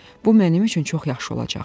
Bu mənim üçün çox yaxşı olacaqdı.